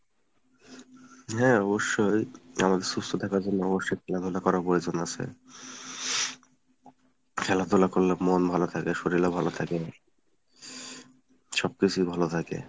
হ্যাঁ অবশ্যই , আমাদের সুস্থ থাকার জন্য অবশ্যই খেলাধুলা করার প্রয়োজন আছে। খেলাধুলা করলে মন ভালো থাকে শরিল ও ভালো থাকে, সবকিছুই ভালো থাকে।